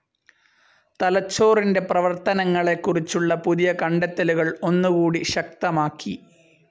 തലച്ചോറിൻ്റെ പ്രവർത്തനങ്ങളെ കുറിച്ചുള്ള പുതിയ കണ്ടെത്തലുകൾ ഒന്നുകൂടി ശക്തമാക്കി.